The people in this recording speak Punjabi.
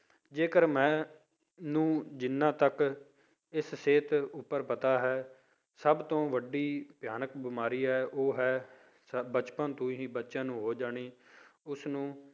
ਜੇਕਰ ਮੈਨੂੰ ਜਿੰਨਾ ਤੱਕ ਇਸ ਸਿਹਤ ਉੱਪਰ ਪਤਾ ਹੈ ਸਭ ਤੋਂ ਵੱਡੀ ਭਿਆਨਕ ਬਿਮਾਰੀ ਹੈ ਉਹ ਹੈ ਬਚਪਨ ਤੋਂ ਹੀ ਬੱਚਿਆਂ ਨੂੰ ਹੋ ਜਾਣੀ, ਉਸਨੂੰ